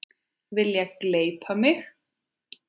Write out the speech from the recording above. Vilja gleypa mig.